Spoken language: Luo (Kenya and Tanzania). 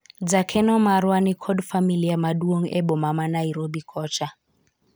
jakeno marwa niko familia maduong' e boma ma Nairobi kocha